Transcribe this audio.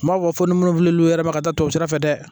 N m'a fɔ ni minnu filɛ l'u yɛrɛ ma ka taa to sira fɛ dɛ